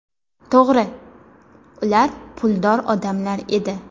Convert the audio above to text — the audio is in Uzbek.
To‘g‘ri, ular puldor odamlar edi.